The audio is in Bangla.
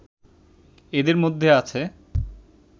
এদের মধ্যে আছে